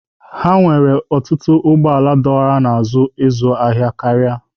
Ha nwere ọtụtụ ụgbọ ala dọwara n'azụ ịzụ ahịa karịa.